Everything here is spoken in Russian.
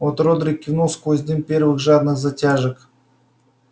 от родрик кивнул сквозь дым первых жадных затяжек